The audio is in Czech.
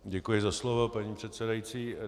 Děkuji za slovo, paní předsedající.